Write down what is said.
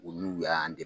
Olu y'an